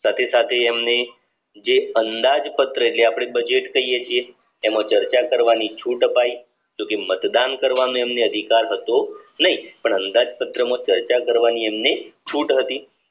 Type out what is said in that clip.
સાથે સાથે એમની જે અંદાજપત્ર જે અપડે budget કહીયે છીએ એમાં ચર્ચા કરવાની છૂટ અપાઈ જો કે મતદાન કરવાનો એમને અધિકાર હતો એ પણ અંદાજપત્રમાં ચર્ચા કરવાની એમને છૂટ વધી